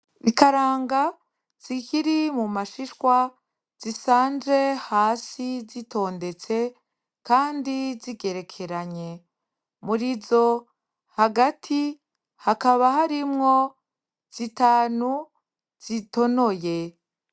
Ikaranga zikiri mumashishwa zisanze hase zitondetse kandi zigerekeranye murizo hagati hakaba harimwo zitanu zitonoye.